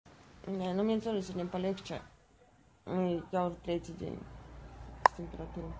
нет но мне тоже сегодня полегче и я уже третий день с температурой